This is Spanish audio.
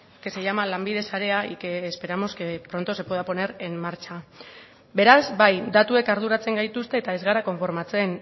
que se llama lanbide sarea y que esperamos que pronto se pueda poner en marcha beraz bai datuek arduratzen gaituzte eta ez gara konformatzen